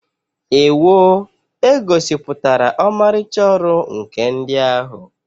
Ewoo! E gosipụtara ọmarịcha ọrụ nkà ndị ahụ.